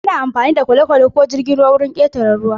Ana amfani da kwale-kwale ko jirgin ruwa don ƙetare ruwa.